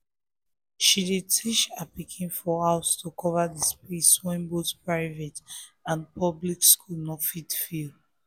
she dey teach her pikin for house to cover the space wey both private and public school no fit fill